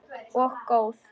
Og góð.